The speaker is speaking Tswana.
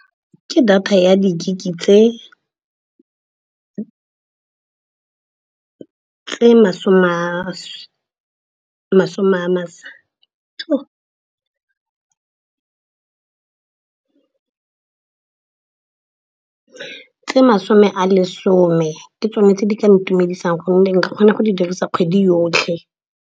Ke data ya di-gig-e tse masome a lesome, ke tsone tse di ka ntumedisang gonne nka kgona go di dirisa kgwedi yotlhe.